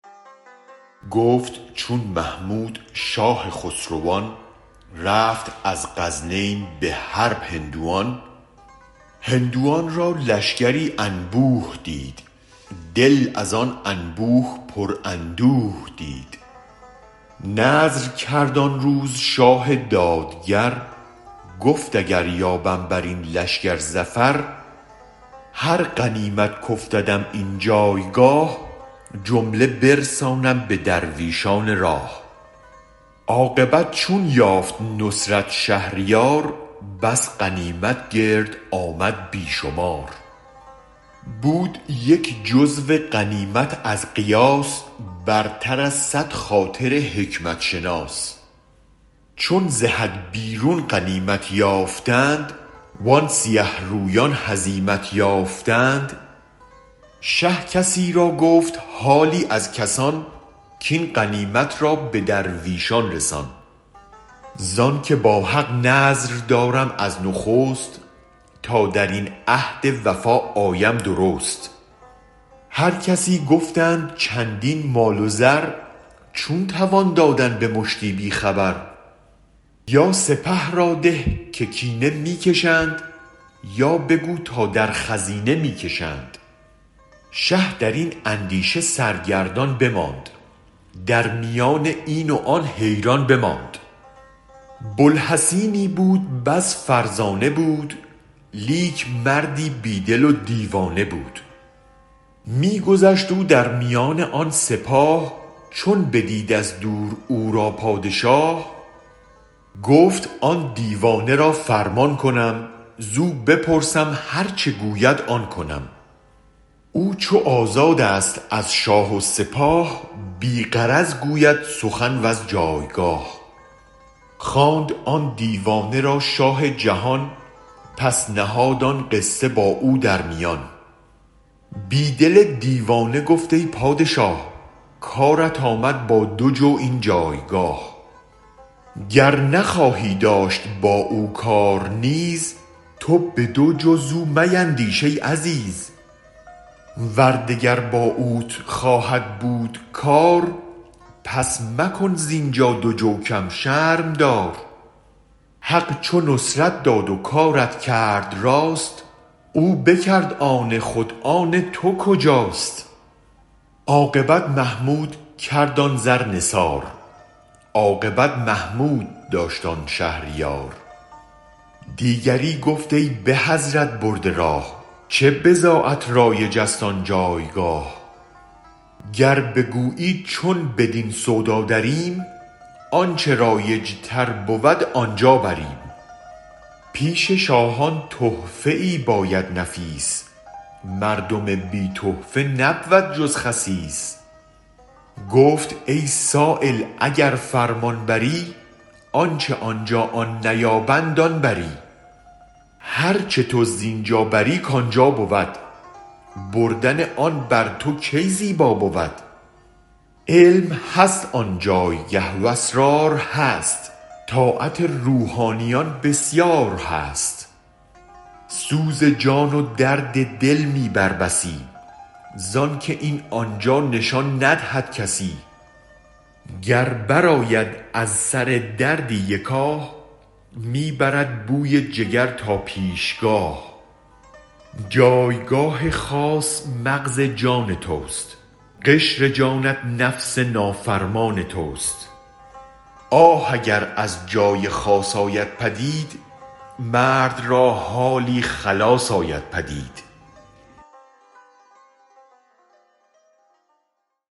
گفت چون محمود شاه خسروان رفت از غزنین به حرب هندوان هندوان را لشگری انبوه دید دل از آن انبوه پر اندوه دید نذر کرد آن روز شاه دادگر گفت اگر یابم برین لشگر ظفر هر غنیمت کافتدم این جایگاه جمله برسانم به درویشان راه عاقبت چون یافت نصرت شهریار بس غنیمت گرد آمد بی شمار بود یک جزو غنیمت از قیاس برتر از صد خاطر حکمت شناس چون ز حد بیرون غنیمت یافتند وآن سیه رویان هزیمت یافتند شه کسی را گفت حالی از کسان کین غنیمت را به درویشان رسان زانک با حق نذر دارم از نخست تا درین عهد وفا آیم درست هرکسی گفتند چندین مال و زر چون توان دادن به مشتی بی خبر یا سپه را ده که کینه می کشند یا بگو تا در خزینه می کشند شه درین اندیشه سرگردان بماند در میان این و آن حیران بماند بوالحسینی بود بس فرزانه بود لیک مردی بی دل و دیوانه بود می گذشت او در میان آن سپاه چون بدید از دور او را پادشاه گفت آن دیوانه را فرمان کنم زو بپرسم هرچ گوید آن کنم او چو آزادست از شاه و سپاه بی غرض گوید سخن وز جایگاه خواند آن دیوانه را شاه جهان پس نهاد آن قصه با او در میان بی دل دیوانه گفت ای پادشاه کارت آمد با دوجو این جایگاه گر نخواهی داشت با او کار نیز تو بدوجو زو میندیش ای عزیز ور دگر با اوت خواهد بود کار پس مکن زینجا دوجو کم شرم دار حق چو نصرت داد و کارت کرد راست او بکرد آن خود آن تو کجاست عاقبت محمود کرد آن زر نثار عاقبت محمود داشت آن شهریار دیگری گفت ای به حضرت برده راه چه بضاعت رایج است آن جایگاه گر بگویی چون بدین سودا دریم آنچ رایج تر بود آنجابریم پیش شاهان تحفه ای باید نفیس مردم بی تحفه نبود جز خسیس گفت ای سایل اگر فرمان بری آنچ آنجا آن نیابند آن بری هرچ تو زینجا بری کانجا بود بردن آن بر تو کی زیبا بود علم هست آنجایگه و اسرار هست طاعت روحانیون بسیار هست سوز جان و درد دل می بر بسی زانک این آنجا نشان ندهد کسی گر برآید از سردردی یک آه می برد بوی جگر تا پیش گاه جایگاه خاص مغز جان تست قشر جانت نفس نافرمان تست آه اگر از جای خاص آید پدید مرد را حالی خلاص آید پدید